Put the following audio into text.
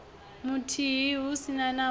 muthihi hu si na u